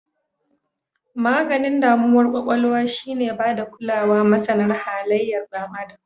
Maganin damuwar kwakwalwa shi ne bada kulawa masana halayar Dan Adam.